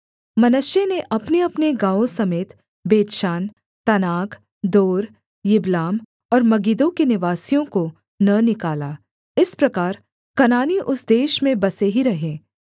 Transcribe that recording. मनश्शे ने अपनेअपने गाँवों समेत बेतशान तानाक दोर यिबलाम और मगिद्दो के निवासियों को न निकाला इस प्रकार कनानी उस देश में बसे ही रहे